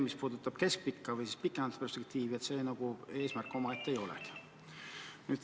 Mis puudutab keskpikka või pikemat perspektiivi, siis see nagu eesmärk omaette ei ole.